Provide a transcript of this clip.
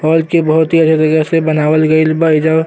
घर के बहुत ही अच्छा से बनावल गइल बा एजा।